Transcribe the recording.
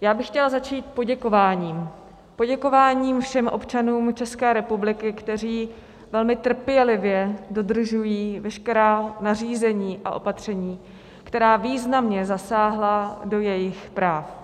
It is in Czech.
já bych chtěla začít poděkováním, poděkováním všem občanům České republiky, kteří velmi trpělivě dodržují veškerá nařízení a opatření, která významně zasáhla do jejich práv.